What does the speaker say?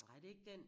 Nej det er ikke den